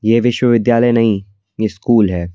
यह विश्वविद्यालय नहीं ये स्कूल है।